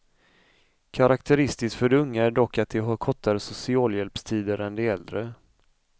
Karaktäristiskt för de unga är dock att de har kortare socialhjälpstider än de äldre.